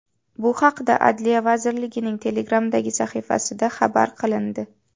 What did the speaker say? Bu haqda Adliya vazirligining Telegram’dagi sahifasida xabar qilindi .